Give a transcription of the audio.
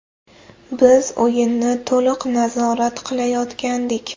Biz o‘yinni to‘liq nazorat qilayotgandik.